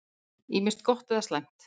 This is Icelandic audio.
Ýmist gott eða slæmt.